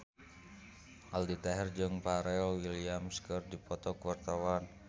Aldi Taher jeung Pharrell Williams keur dipoto ku wartawan